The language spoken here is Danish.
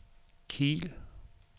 Kiel